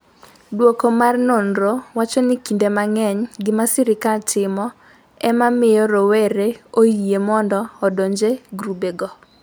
duoko mar nonrono wacho ni kinde mang’eny gima sirkal timo e ma miyo rowere oyie mondo odonj e grupgo.